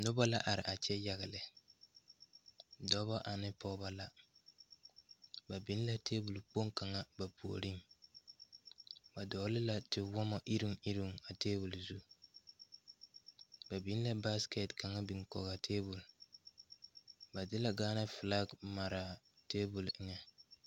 Noba la are a kyɛ yaga lɛ dɔɔbo ane pɔgeba la ba biŋ la tabol kpoŋ kaŋa ba puori ba dogle la te wɔmo iri iri a tabol zu ba biŋ la ba biŋ la baasiket kaŋa biŋ kɔŋ a tabol ba de Gaana filak mara tabol eŋa.